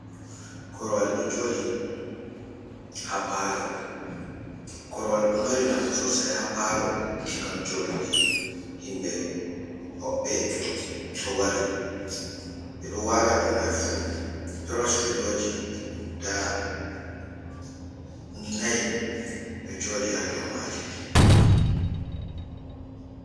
Korwal ɗo joɗi korwal ɗo mari nafu sosai ha palo, ngam joduki himɓe hoɓɓe to wari, ɓe ɗo wala dow mai fu, tros philoji guda nai ɗo joɗi ha dow majum.